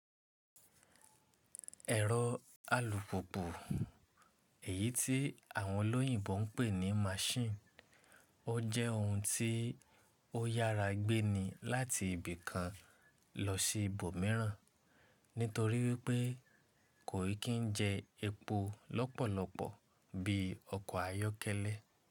Ẹ̀rọ alùpùpù, èyí tí àwọn olóyìnbo ń pè ní machine, ó jẹ́ ohun tí ó yára gbé ni láti ibì kan lọ sí ibòmìíràn, nítorí wípé kò kì ń jẹ epo lọ́pọ̀lọpọ̀ bí ọkọ̀ ayọ́kẹ́lẹ́.